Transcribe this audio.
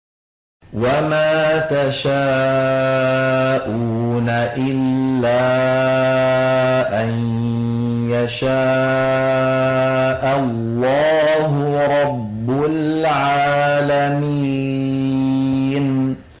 وَمَا تَشَاءُونَ إِلَّا أَن يَشَاءَ اللَّهُ رَبُّ الْعَالَمِينَ